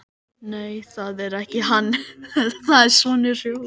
Nei, það er ekki hann, það er sonur Hrólfs.